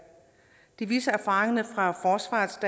det viser erfaringerne fra forsvarets